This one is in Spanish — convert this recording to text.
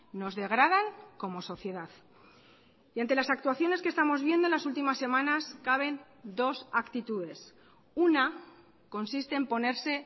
nos degradan como sociedad y ante las actuaciones que estamos viendo en las últimas semanas caben dos actitudes una consiste en ponerse